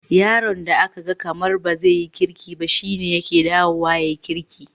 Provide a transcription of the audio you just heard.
Yaron da aka gan kamar bazaya yi kirki ba, shine yakan dawo ya yi kirki.